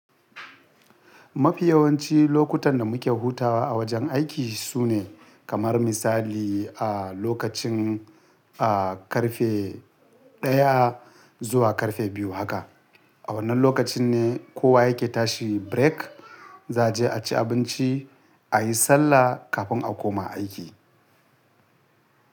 Mafi yawanci lokutan da muke hutawa a wajen aiki sune kamar misali lokacin, ƙarfe ɗaya zuwa ƙarfe biyu haka. A wannan lokacin ne kowa yake tashi break, za je a ci abinci, a yi sallah kafin a koma aiki.